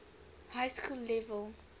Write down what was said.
high school level